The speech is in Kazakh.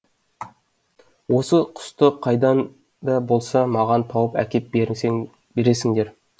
осы құсты қайдан да болса маған тауып әкеп бересіңдер